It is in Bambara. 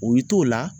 O y'i t'o la